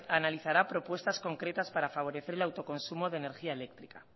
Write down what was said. analizará propuestas concretas para favorecer el autoconsumo de energía eléctrica